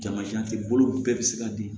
Jamajan tɛ bolo bɛɛ bɛ se ka bin